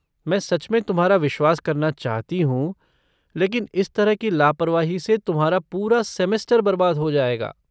मैं सच में तुम्हारा विश्वास करना चाहती हूँ लेकिन इस तरह की लापरवाही से तुम्हारा पूरा सेमेस्टर बर्बाद हो जाएगा।